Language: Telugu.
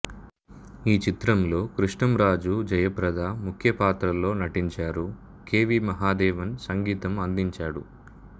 ఈ చిత్రంలో కృష్ణంరాజు జయ ప్రద ముఖ్య పాత్రల్లో నటించారు కె వి మహదేవన్ సంగీతం అందించాడు